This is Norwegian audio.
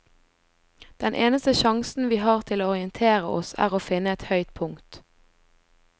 Den eneste sjansen vi har til å orientere oss er å finne et høyt punkt.